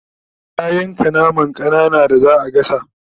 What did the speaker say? ya yanka naman ƙanana da zaa gasa